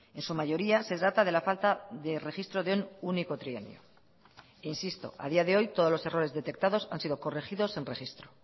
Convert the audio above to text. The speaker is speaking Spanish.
en su mayoría se trata de la falta de registro de un único trienio insisto a día de hoy todos los errores detectados han sido corregidos en registro